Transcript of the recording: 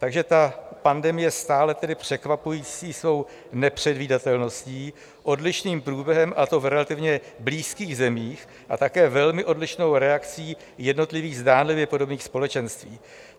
Takže ta pandemie, stále tedy překvapující svou nepředvídatelností, odlišným průběhem, a to v relativně blízkých zemích, a také velmi odlišnou reakcí jednotlivých, zdánlivě podobných společenství.